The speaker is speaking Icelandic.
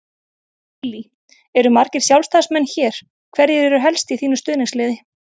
Lillý: Eru margir Sjálfstæðismenn hér, hverjir eru helst í þínu stuðningsliði?